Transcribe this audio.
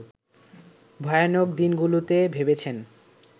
ভয়ানক দিনগুলোতে ভেবেছেন